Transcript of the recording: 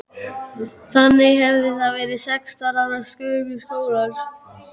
Þannig hefði það verið sextán ára sögu skólans.